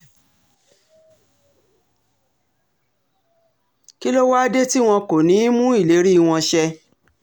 kí ló wáá dé tí wọn kò ní í mú ìlérí wọn ṣẹ